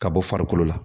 Ka bɔ farikolo la